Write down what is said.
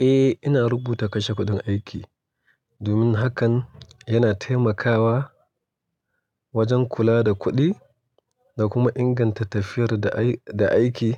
Eh, ina rubuta kashe kuɗin aiki domin hakan yana taimakawa wajen kula da kuɗi da kuma inganta tafiyar da aiki